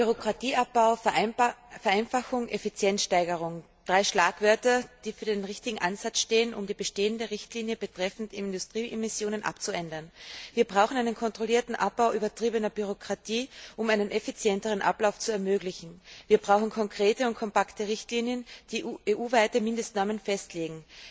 Bürokratieabbau, Vereinfachung, Effizienzsteigerung drei Schlagwörter, die für den richtigen Ansatz stehen, um die bestehende Richtlinie betreffend Industrieemissionen abzuändern. Wir brauchen einen kontrollierten Abbau übertriebener Bürokratie, um einen effizienteren Ablauf zu ermöglichen. Wir brauchen konkrete und kompakte Richtlinien, die EU weite Mindestnormen festlegen.